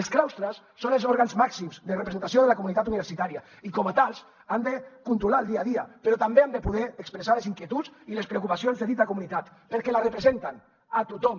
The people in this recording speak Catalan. els claustres són els òrgans màxims de representació de la comunitat universitària i com a tals han de controlar ne el dia a dia però també han de poder expressar les inquietuds i les preocupacions de dita comunitat perquè la representen a tothom